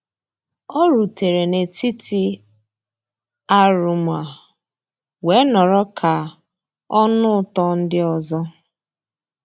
ọ́ rùtérè n'étítì àrụ́móóá weé nọ̀rọ́ ká ọ́ nụ́ ụtọ́ ndị́ ọ́zọ́.